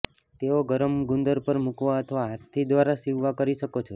તેઓ ગરમ ગુંદર પર મૂકવા અથવા હાથથી દ્વારા સીવવા કરી શકો છો